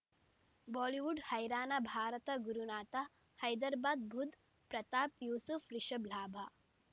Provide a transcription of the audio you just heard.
Bollywood ಹೈರಾಣ Bharat Gurunath Hyderabad Budh Pratap Yusuf Rishabh ಲಾಭ